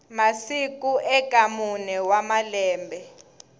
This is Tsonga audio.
masiku eka mune wa malembe